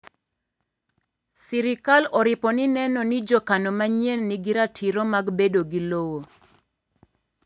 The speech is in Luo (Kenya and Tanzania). sirikal oripo ni neno ni jokano manyien nigi ratiro mag bedo gi lowo